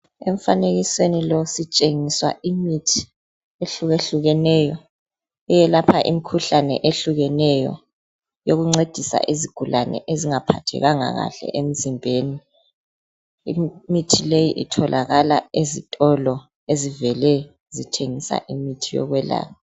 emfanekisweni lo sitshengiswa imithi ehlukehlukeneyo eyelapha imikhuhlane ehlukeneyo eyokuncedisa izigulane ezingaphathekanga kahle emzimbeni imithi le itholakala ezitolo ezivele zithengisa imithi yokwelapha